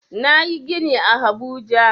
Nayi gini a habuja